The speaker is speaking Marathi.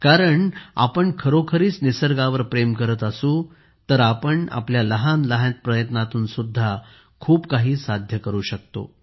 कारण आपण खरोखरीच निसर्गावर प्रेम करत असू तर आपण आपल्या लहान लहान प्रयत्नांतून सुद्धा खूप काही साध्य करू शकतो